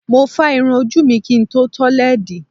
Mo fá irun ojú mi kí n tó tọ́ lẹ́ẹ̀dì.